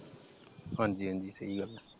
ਹਾਂਜੀ ਹਾਂਜੀ ਸਹੀ ਗੱਲ ਆ ।